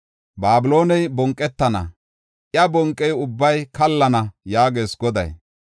Babilooney bonqetana; iya bonqiya ubbay kallana” yaagees Goday.